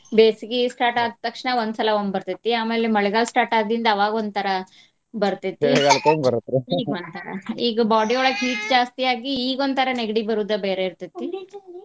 ಬೆಸ್ಗಿ start ಆದ್ ತಕ್ಷಣ ಒಂದ್ ಸಲಾ ಒಮ್ಮಿ ಬರ್ತೆತಿ. ಆಮೇಲೆ ಮಳೆಗಾಲ start ಆದಿಂದ ಅವಾಗೊಂದ್ ತರಾ ಬರ್ತೆತಿ ಈಗ body ಯೊಳಗ heat ಜಾಸ್ತಿ ಆಗಿ ಇಗೊಂದ್ ತರಾ ನೆಗಡಿ ಬರೋದ ಬೇರೆ ಇರ್ತೆತಿ .